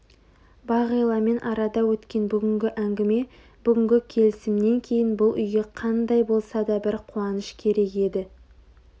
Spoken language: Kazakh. бағиламен арада өткен бүгінгі әңгіме бүгінгі келісімнен кейін бұл үйге қандай болса да бір қуаныш керек еді